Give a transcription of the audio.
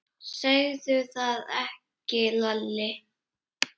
Segðu það ekki Lalli!